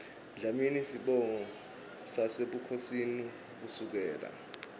dlamini sibongo sasebukhosini kusukela